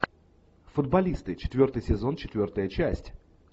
футболисты четвертый сезон четвертая часть